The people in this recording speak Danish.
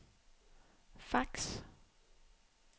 fax